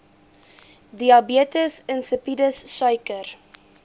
diabetes insipidus suiker